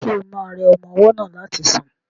Ṣo ma rẹ ọmọ ọwọ́ náà láti sùn?